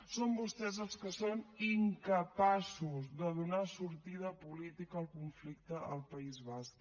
són vostès els que són incapaços de donar sortida política al conflicte al país basc